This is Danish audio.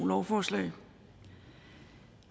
lovforslag